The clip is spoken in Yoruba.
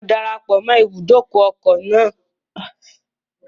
Mo darapọ̀ mọ́ ibùdókọ̀ ní ọdún tó kọjá.